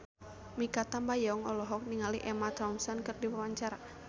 Mikha Tambayong olohok ningali Emma Thompson keur diwawancara